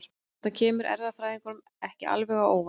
Þetta kemur erfðafræðingum ekki alveg á óvart.